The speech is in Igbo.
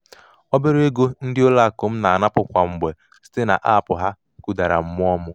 obere ego ndị ụlọakụ m na-anapụ kwa mgbe site naapụ ha ha kụdara mmụọ m.